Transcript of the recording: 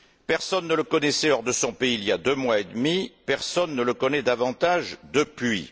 Personne ne le connaissait hors de son pays il y a deux mois et demi, personne ne le connaît davantage depuis.